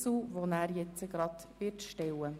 Rückkommen auf Art 42. Abs. 1 und 2